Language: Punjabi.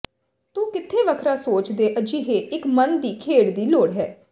ਤੂੰ ਕਿੱਥੇ ਵੱਖਰਾ ਸੋਚ ਦੇ ਅਜਿਹੇ ਇੱਕ ਮਨ ਦੀ ਖੇਡ ਦੀ ਲੋੜ ਹੈ